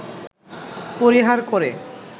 পরিহার করে